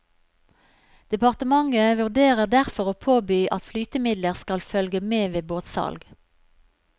Departementet vurderer derfor å påby at flytemidler skal følge med ved båtsalg.